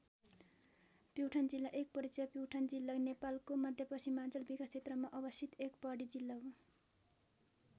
प्युठान जिल्ला एक परिचय प्युठान जिल्ला नेपालको मध्यपश्चिमाञ्चल विकास क्षेत्रमा अवस्थित एक पहाडी जिल्ला हो।